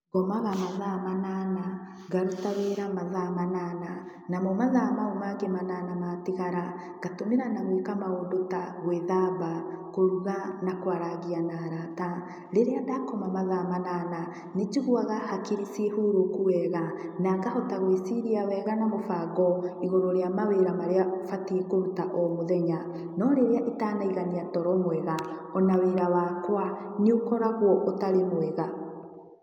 Ngomaga mathaa manana, ngaruta wĩra mathaa manana, namo mathaa mau mangĩ manana matigara, ngatũmĩra na gũĩka maũndũ ta gwĩthamba, kũruga na kwarangia na arata. Rĩrĩa ndakoma mathaa manana nĩ njiguaga hakiri ciĩ hurũku wega. Na ngahota gwĩciria wega na mũbango, igũrũ rĩa mawĩra marĩa batiĩ kũruta o mũthenya. No rĩrĩa itanaigania toro mwega, o na wĩra wakwa, nĩ ũkoragwo ũtarĩ mwega.